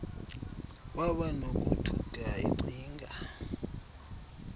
waba nokothuka ecinga